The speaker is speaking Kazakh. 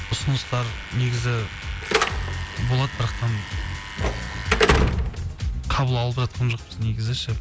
ұсыныстар негізі болады қабыл алып жатқан жоқпыз негізі ше